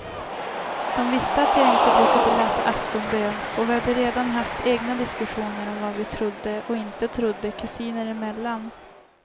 De visste att jag inte brukade läsa aftonbön och vi hade redan haft egna diskussioner om vad vi trodde och inte trodde kusiner emellan.